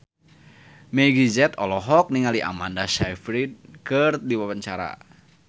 Meggie Z olohok ningali Amanda Sayfried keur diwawancara